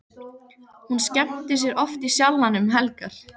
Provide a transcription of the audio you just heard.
Hún skemmtir sér oft í Sjallanum um helgar.